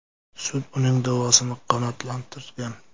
Sud uning da’vosini qanoatlantirgan.